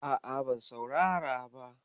A'a, ban saurara ba.